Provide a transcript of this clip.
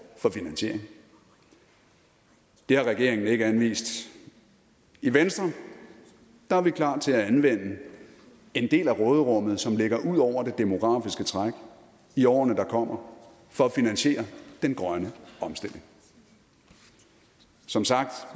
for finansiering det har regeringen ikke anvist i venstre er vi klar til at anvende en del af råderummet som ligger ud over det demografiske træk i årene der kommer for at finansiere den grønne omstilling som sagt